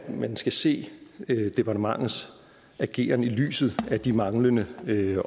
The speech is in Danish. man skal se departementets ageren i lyset af de manglende